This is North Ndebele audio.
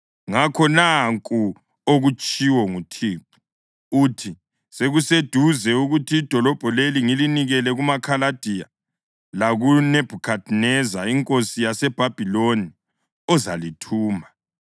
Ngakho, nanku okutshiwo nguThixo, uthi: Sekuseduze ukuthi idolobho leli ngilinikele kumaKhaladiya lakuNebhukhadineza inkosi yaseBhabhiloni, ozalithumba.